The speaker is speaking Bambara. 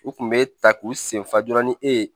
U kun bɛ ta k'u sen fa dɔrɔn ni e ye